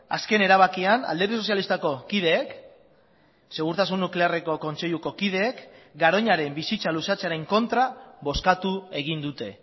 azken erabakian alderdi sozialistako kideek segurtasun nuklearreko kontseiluko kideek garoñaren bizitza luzatzearen kontra bozkatu egin dute